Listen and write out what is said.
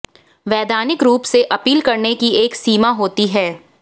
वैधानिक रूप से अपील करने की एक सीमा होती है